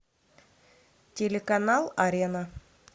телеканал арена